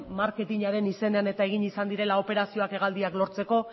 marketinaren izenean eta egin izan direla operazioak hegaldiak lortzeko